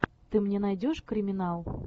ты мне найдешь криминал